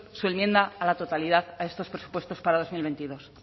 su enmienda a la totalidad a estos presupuestos para dos mil veintidós